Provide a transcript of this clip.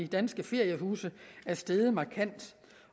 danske feriehuse er steget markant